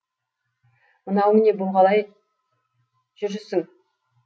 мынауың не бұл қалай жүрісің